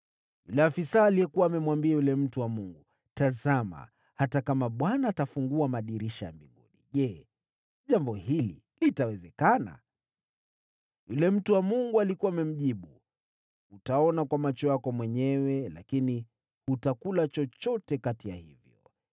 Yule afisa alikuwa amemwambia yule mtu wa Mungu, “Tazama, hata kama Bwana atafungua madirisha ya mbinguni, je, jambo hili litawezekana?” Naye yule mtu wa Mungu alikuwa amemjibu, “Utaona kwa macho yako mwenyewe, lakini wewe hutakula chochote kati ya hivyo!”